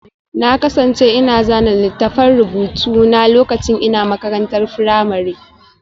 Na kasance ina zana littafan rubutu na lokacin ina makarantar firamare